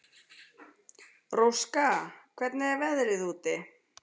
Róska, hvernig er veðrið úti?